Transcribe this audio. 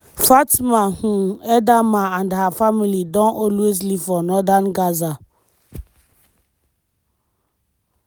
fatma um edaama and her family don always live for northern gaza.